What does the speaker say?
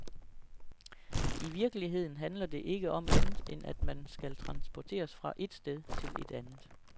I virkeligheden handler det ikke om andet end at man skal transporteres fra et sted til et andet.